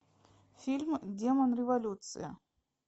фильм демон революции